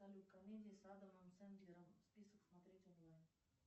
салют комедии с адамом сэндлером список смотреть онлайн